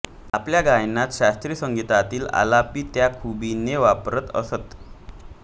आपल्या गायनात शास्त्रीय संगीतातील आलापी त्या खुबीने वापरत असत